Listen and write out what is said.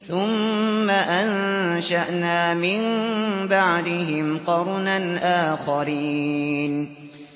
ثُمَّ أَنشَأْنَا مِن بَعْدِهِمْ قَرْنًا آخَرِينَ